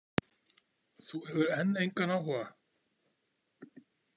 Þú hefur enn engan áhuga?